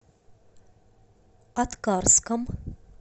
аткарском